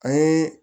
A ye